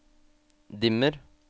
dimmer